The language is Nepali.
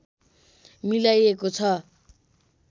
मिलाइएको छ